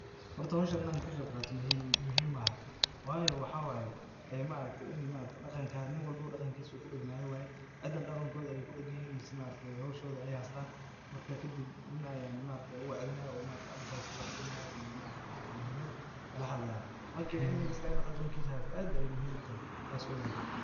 Horta hoshan in ann ka qiib qaato muhiim maaha. Waayo, waxaa waay inn ninwalba daqankiisa ku degan yahay waay. Cidan daqankoodha ayaa ay ku deganyihiin mise hoshod ayaa ay haystaan. Marka kadib nin ayaa ay u wacdinayo advice [sc] ii wax siinayo oo muhiimid kala hadlaaya. Marka, in nin kasta inuu daqankiisa haysta aad muhiim u tahay. Taas ogaada.